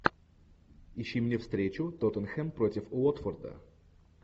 ищи мне встречу тоттенхэм против уотфорда